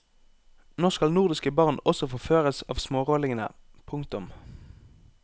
Nå skal nordiske barn også forføres av smårollingene. punktum